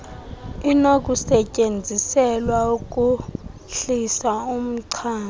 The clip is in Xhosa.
inokusetyenziselwa ukuhlisa umchamo